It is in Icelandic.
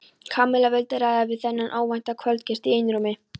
Kamilla vildi ræða við þennan óvænta kvöldgest í einrúmi.